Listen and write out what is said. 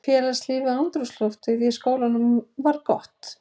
Félagslífið og andrúmsloftið í skólanum var gott.